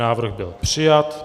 Návrh byl přijat.